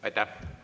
Aitäh!